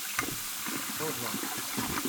о два